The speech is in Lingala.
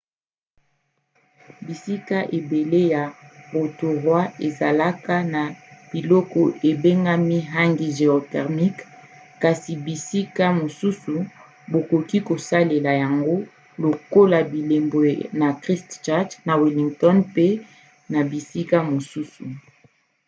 bisika ebele ya rotorua ezalaka na biloko ebengami hangi géothermiques kasi bisika mosusu bakoki kosalela yango lokola bilembo na christchurch na wellington pe na bisika mosusu